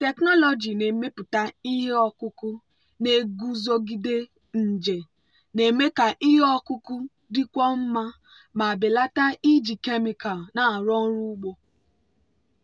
biotechnology na-emepụta ihe ọkụkụ na-eguzogide nje na-eme ka ihe ọkụkụ dịkwuo mma ma belata iji kemịkal na-arụ ọrụ ugbo.